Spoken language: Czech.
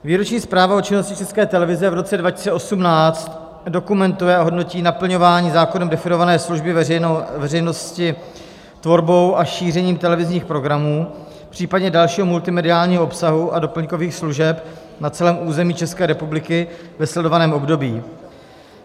Výroční zpráva o činnosti České televize v roce 2018 dokumentuje a hodnotí naplňování zákonem definované služby veřejnosti tvorbou a šířením televizních programů, popřípadě dalšího multimediálního obsahu a doplňkových služeb na celém území České republiky ve sledovaném období.